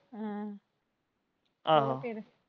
ਆਹੋ ਹੋਰ ਫੇਰ।